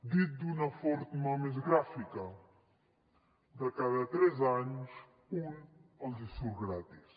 dit d’una forma més gràfica de cada tres anys un els surt gratis